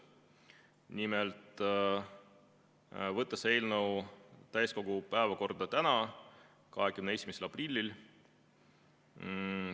Nimelt, võtta eelnõu täiskogu päevakorda tänaseks, 21. aprilliks.